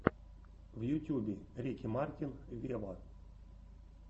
в ютьюбе рики мартин вево